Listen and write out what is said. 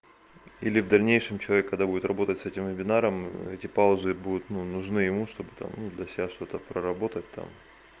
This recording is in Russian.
или в дальнейшем человек когда будет работать с этим вебинаром эти паузы будут ну нужны ему чтобы там для себя что-то проработать там